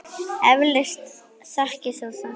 Eflaust þekkir þú það.